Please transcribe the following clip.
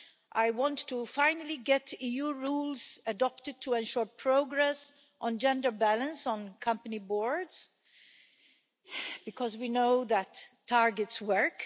I want to finally get to EU rules adopted to ensure progress on gender balance on company boards, because we know that targets work.